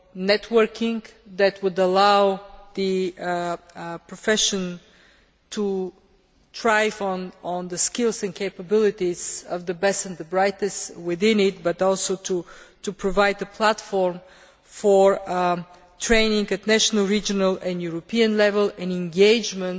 networking that would allow the profession to thrive on the skills and capabilities of the best and the brightest within it, but also to provide the platform for training at national, regional and European level in the engagement